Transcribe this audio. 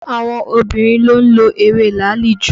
Àwọn obìnrin ló ń lo ewé làálì jù